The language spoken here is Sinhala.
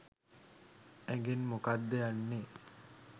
ඇඟෙන් මොකක්ද යන්නෙ?